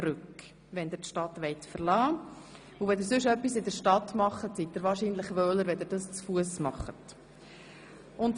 Falls Sie in der Stadt etwas erledigen wollen, ist es wohl einfacher, wenn Sie dies heute zu Fuss tun.